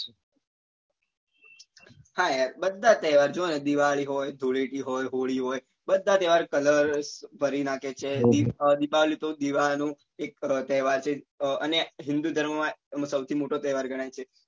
હા યાર બધા તહેવાર જો ને દિવાળી હોય ધૂળેટી હોય હોળી હોય બધા colour ભરી નાખે છે દિપાવલી તો દીવા નો એક તહેવાર છે અને અ હિંદુ ધર્મ માં એમાં સૌથી મોટો તહેવાર ગણાય છે